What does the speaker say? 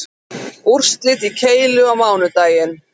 Úrslit í keilu á mánudaginn